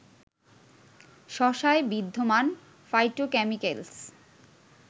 শশায় বিদ্যমান ফাইটোক্যামিকেলস